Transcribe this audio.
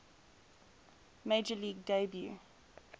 major league debut